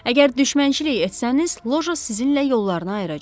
Əgər düşmənçilik etsəniz, loja sizinlə yollarını ayıracaq.